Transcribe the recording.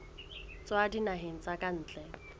tswa dinaheng tsa ka ntle